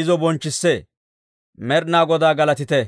izo bonchchissee. Med'inaa Godaa galatite!